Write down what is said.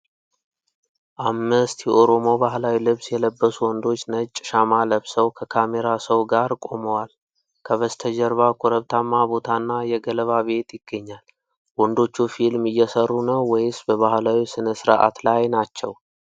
አምስት የኦሮሞ ባህላዊ ልብስ የለበሱ ወንዶች፣ ነጭ ሻማ ለብሰው ከካሜራ ሰው ጋር ቆመዋል። ከበስተጀርባ ኮረብታማ ቦታና የገለባ ቤት ይገኛል። ወንዶቹ ፊልም እየሠሩ ነው ወይስ በባህላዊ ሥነ-ሥርዓት ላይ ናቸው?